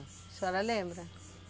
A senhora lembra?